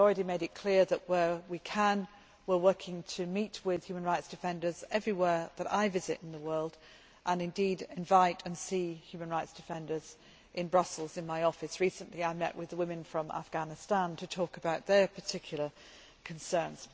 I have already made it clear that, where we can, we are working to meet with human rights defenders everywhere that I visit in the world and indeed to invite and see human rights defenders in Brussels in my office. Recently, I met with women from Afghanistan to talk about their particular concerns.